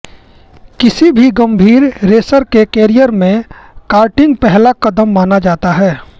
किसी भी गंभीर रेसर के कैरियर में कार्टिंग पहला कदम माना जाता है